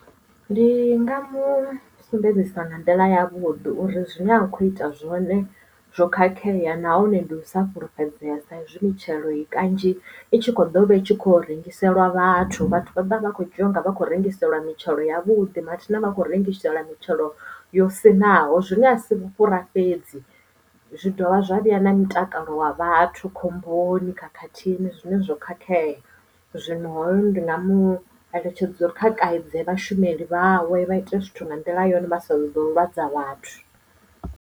Ndi nga mu sumbedzisa nga nḓila ya vhuḓi uri zwine a khou ita zwone zwo khakhea nahone ndi u sa fhulufhedzea sa izwi mitshelo i kanzhi i tshi kho dovha itshi kho rengiselwa vhathu vhathu vha vha vha kho dzhia unga vha khou rengiselwa mitshelo ya vhuḓi mathina vha khou rengiselwa mitshelo yo sinaho zwine a si vhufhura fhedzi zwi dovha zwa vheya na mutakalo wa vhathu khomboni khakhathini zwine zwo khakhea zwino ndi nga mu eletshedza uri kha kaidze vhashumeli vhaṅwe vha ite zwithu nga nḓila yone vha sa zwo ḓo lwadza vhathu.